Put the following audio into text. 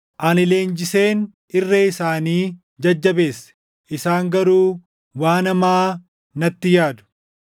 Ani leenjiseen irree isaanii jajjabeesse; isaan garuu waan hamaa natti yaadu.